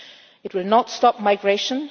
It will not stop migration